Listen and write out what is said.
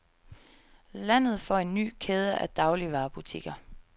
Landet får en ny kæde af dagligvarebutikker.